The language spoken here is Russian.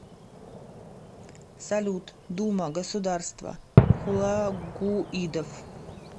салют дума государство хулагуидов